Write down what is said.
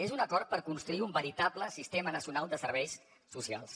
és un acord per construir un veritable sistema nacional de serveis socials